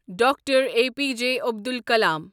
doctor A P J Abdul کلام